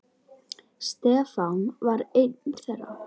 Stefán var einn þeirra.